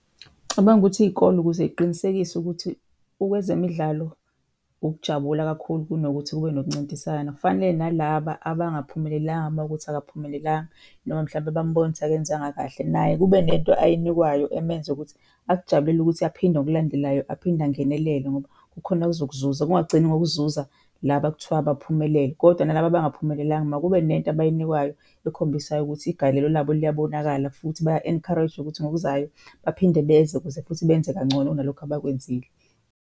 Ngicabanga ukuthi iy'kole ukuze y'qinisekise ukuthi okwezemidlalo ukujabula kakhulu kunokuthi kube nokuncintisana fanele nalaba abangaphumelelanga mawukuthi akaphumelelanga, noma mhlawumbe bambona ukuthi akenzanga kahle naye kube nento ayinikwayo emenza ukuthi akujabulele ukuthi aphinde ngokulandelayo aphinde angenelele ngoba kukhona ozokuzuza. Kungagcini ngokuzuza laba ekuthiwa baphumelele, kodwa nalaba abangaphumelelanga makube nento abayinikwayo ekhombisayo ukuthi igalelo labo liyabonakala futhi baya encourage-wa ukuthi ngokuzayo baphinde beze ukuze futhi benze kangcono kunalokhu abakwenzile.